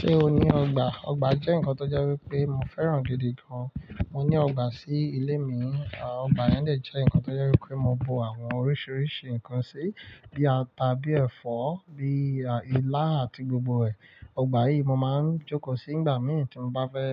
Ṣé o ní ọgbà? Ọgbà jẹ́ nǹkan tó jẹ́ wípé mo fẹ́ràn gidi gan. Mo ní ọgbà sí ilé mi, à ọgbà yẹn dè jẹ́ ǹkan tó jẹ wípé mo bo àwọn oríṣiríṣi ǹkan sí, bí i ata, bí i ẹ̀fọ́, bí i ilá àti gbogbo ẹ̀. Ọgbà yìí mo máa ń jókòó sí nígbà mìíràn tí mo bá fẹ́